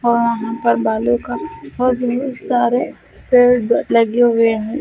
और ऊपर बालों का और बहोत सारे पेड़ लगे हुए है।